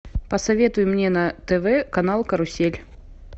посоветуй мне на тв канал карусель